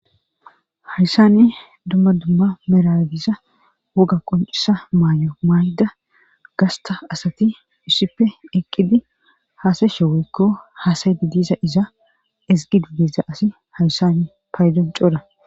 hayssani dumma dumma meragisa woga qoncisa maay7o maayda gasta asati ussippe eqqidi haasayshe woykko haasaydi diiza iza ezgi du diiza asi hayssani paydon coora